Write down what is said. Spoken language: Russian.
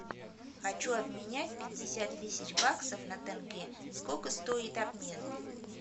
хочу обменять пятьдесят тысяч баксов на тенге сколько стоит обмен